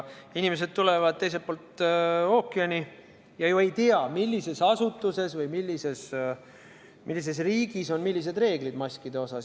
Inimesed tulevad teiselt poolt ookeani ja nad ei tea ju, millises asutuses või millises riigis on millised reeglid maskide kohta.